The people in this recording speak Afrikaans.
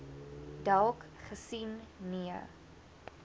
dalk gesien nee